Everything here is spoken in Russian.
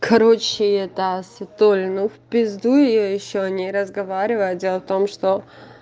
короче это светуль ну в пизду её ещё о ней разговаривать дело в том что